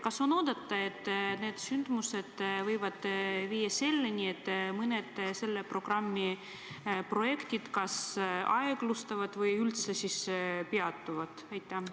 Kas on oodata, et need sündmused võivad viia selleni, et mõned selle programmi projektid kas aeglustuvad või üldse peatuvad?